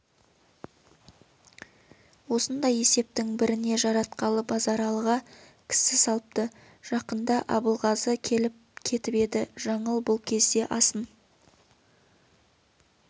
осындай есептің біріне жаратқалы базаралыға кісі салыпты жақында абылғазы келіп кетіп еді жаңыл бұл кезде асын